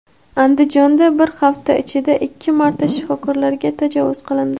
Andijonda bir hafta ichida ikki marta shifokorlarga tajovuz qilindi.